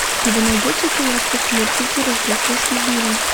у тебя найдется киношка смурфики рождественский гимн